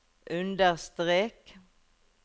understrek